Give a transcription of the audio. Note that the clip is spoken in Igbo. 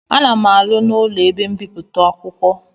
Ana m arụ n'ụlọ ebe mbipụta akwụkwọ